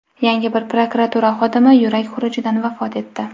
Yana bir prokuratura xodimi yurak xurujidan vafot etdi.